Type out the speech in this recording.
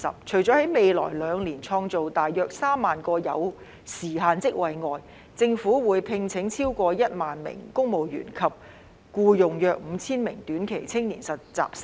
除了在未來兩年創造大約3萬個有時限職位外，政府會聘請超過1萬名公務員及僱用約5000名短期青年實習生。